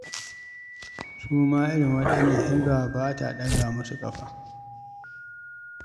Su ma irin waɗannan Hisba ba ta ɗaga musu ƙafa.